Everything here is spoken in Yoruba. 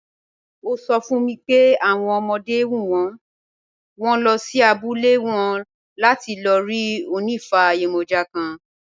Ó sọ fún mi pé àwọn ọmọdé ń wù wọ́n, wọ́n lọ sí abúlé wọn láti lọ rí onifa yemoja kan.